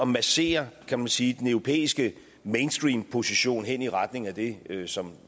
massere kan man sige den europæiske mainstream position hen i retning af det som